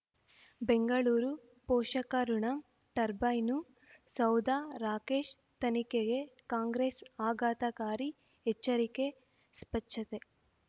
ಬೆಂಗಳೂರು ಪೋಷಕಋಣ ಟರ್ಬೈನು ಸೌಧ ರಾಕೇಶ್ ತನಿಖೆಗೆ ಕಾಂಗ್ರೆಸ್ ಆಘಾತಕಾರಿ ಎಚ್ಚರಿಕೆ ಸ್ಪಚ್ಛತೆ